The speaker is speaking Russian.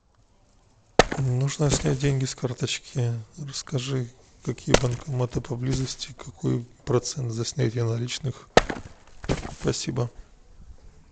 нужно снять деньги с карточки расскажи какие банкоматы поблизости какой процент за снятие наличных спасибо